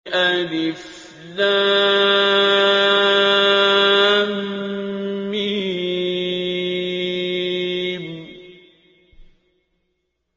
الم